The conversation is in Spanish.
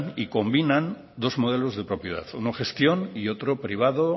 y combinan dos modelos de propiedad uno gestión y otro privado